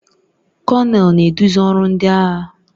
Kọnel na-eduzi ọrụ ndị agha